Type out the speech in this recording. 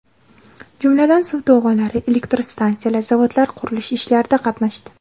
Jumladan, suv to‘g‘onlari, elektrostansiyalar, zavodlar qurish ishlarida qatnashdi.